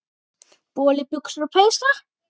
Boli, buxur og peysur.